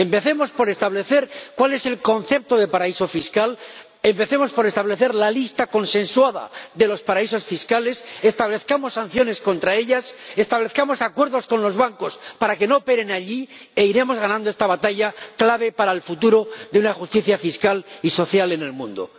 Empecemos por establecer cuál es el concepto de paraíso fiscal, empecemos por establecer la lista consensuada de los paraísos fiscales, establezcamos sanciones contra ellas, establezcamos acuerdos con los bancos para que no operen allí e iremos ganando esta batalla, clave para el futuro de la justicia fiscal y social en el mundo.